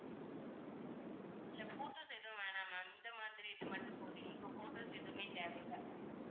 இல்லை photos எதுவும் வேணா ma'am இந்த மாதிரி இது மட்டும் போதும் எங்களுக்கு photos எதுவுமே தேவை இல்லை